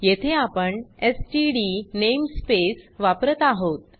येथे आपण STD namespace वापरत आहोत